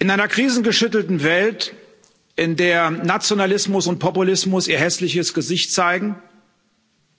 In einer krisengeschüttelten Welt, in der Nationalismus und Populismus ihr hässliches Gesicht zeigen,